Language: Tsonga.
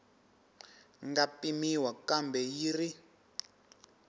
nga pimiwa kambe yi ri